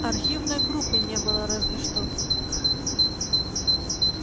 архивной группы не было разве что